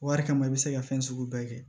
Wari kama i bɛ se ka fɛn sugu bɛɛ kɛ